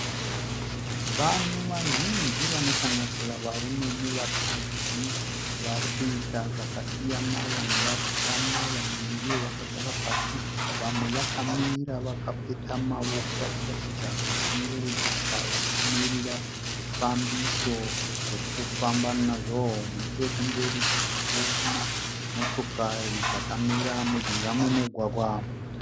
Vanhu vazhinji vanosanganisira varume nevakadzi varikuita zvakasiyana vamwe vari kufamba vamwe ndivo vakagara pasi vamwe vakamira vakapeta maoko vachiratidza kushungurudzika vakamirira zvifambiso zvekufamba nazvo nechekumberi tiri kuona motokari dzakamira mujinga memugwagwa.